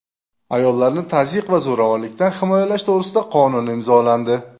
Ayollarni tazyiq va zo‘ravonlikdan himoyalash to‘g‘risida qonun imzolandi.